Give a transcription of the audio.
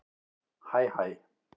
Hæ hæ